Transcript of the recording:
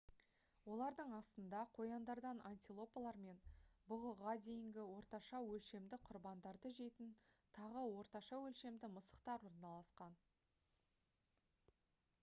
олардың астында қояндардан антилопалар мен бұғыға дейінгі орташа өлшемді құрбандарды жейтін тағы орташа өлшемді мысықтар орналасқан